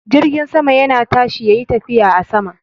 Jirgin sama yana tashi yayi tafiya a sama.